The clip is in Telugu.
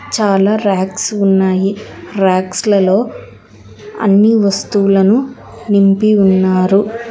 చాలా రాక్స్ ఉన్నాయి రాక్స్లలో అన్ని వస్తువులను నింపి ఉన్నారు.